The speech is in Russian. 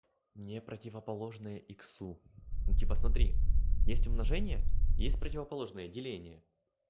не противоположные иксу ну типо смотри есть умножение есть противоположное деление